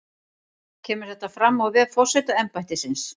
Kemur þetta fram á vef forsetaembættisins